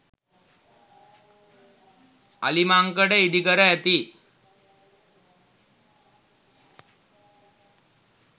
අලිමංකඩ ඉදිකර ඇති